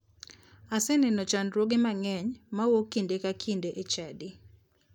Aseneno chandruoge mang'eny mawuok kinde ka kinde e chadi.